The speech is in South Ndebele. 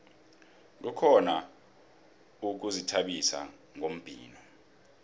kukhona ukuzithabisa ngombhino